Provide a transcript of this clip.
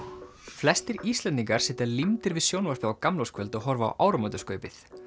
flestir Íslendingar sitja límdir við sjónvarpið á gamlárskvöld og horfa á áramótaskaupið